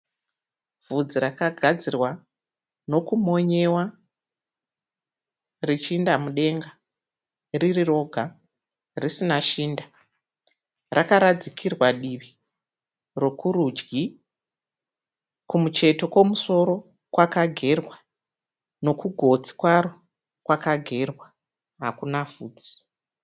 Bvudzi rakagadzirwa nokumonyewa richiinda mudenga riri roga risina shinda. Rakaradzikirwa divi rokurudyi. Kumucheto kwemusoro kwakagerwa nekugotsi kwaro kwakagerwa hakuna bvudzi.